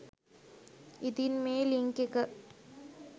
ඉතින් මේ ලින්ක් එක